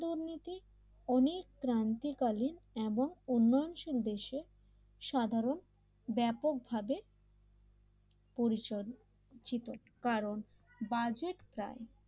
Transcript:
অনেক ক্রান্তি কালীন এবং উন্নয়নশীল দেশের সাধারণ ব্যাপকভাবে পরিচয় চিতো কারণ বাজেট প্রায়